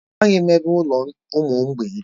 Amaghị m ebe ụlọ ụmụ mgbei dị.